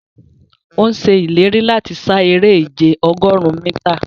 Ọ̀ sẹ̀ ilẹ̀rí lati ṣà èrè ìjẹ̀ ogórùn míta.